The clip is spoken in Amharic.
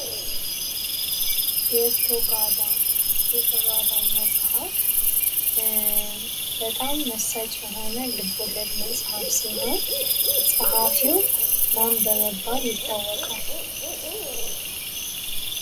ዴርቶ ጋዳ የተባለው መፅሀፍ በጣም መሳጭ የሆነ ልብ ወለድ መፅሀፍ ሲሆን ፀሀፊው ማን በመባል ይታወቃል?